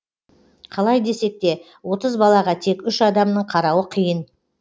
қалай десек те отыз балаға тек үш адамның қарауы қиын